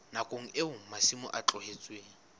nakong eo masimo a tlohetsweng